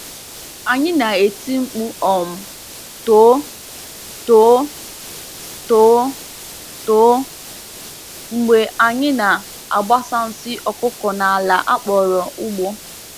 Anyị na-eti mkpu um “too, too, too, too” mgbe anyị na-agbasa nsị ọkụkọ n’ala a kpọrọ ugbo.